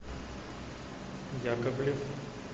яковлев